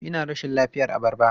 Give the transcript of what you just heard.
Ina rashin lafiyar abarba.